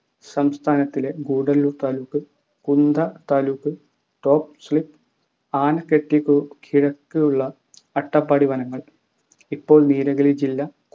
സംസ്ഥാനത്തിലെ Gudalur taluk Kunda taluk top slip ആന ക്കെട്ടിക്കു കിഴക്കുള്ള അട്ടപ്പാടിവനങ്ങൾ ഇപ്പോൾ നീലഗിരി ജില്ല